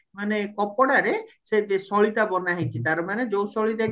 ମାନେ କପଦରେ ସେ ସଳିତା ବନ ହେଇଚି ତାର ମାନେ ଯୋଉ ସଳିତାକି